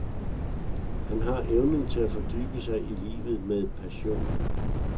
Han har evnen til at fordybe sig i livet med passion.